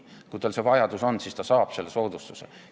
Kui tal see vajadus on, siis ta saab selle soodustuse.